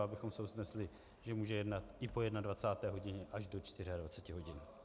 Abychom se usnesli, že můžeme jednat i po 21. hodině až do 24 hodin.